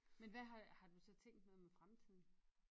Men hvad har har du så tænkt noget med fremtiden?